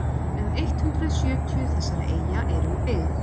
um eitt hundruð sjötíu þessara eyja eru í byggð